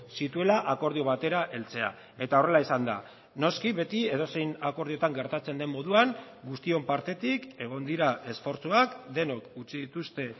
zituela akordio batera heltzea eta horrela izan da noski beti edozein akordioetan gertatzen den moduan guztion partetik egon dira esfortzuak denok utzi dituzte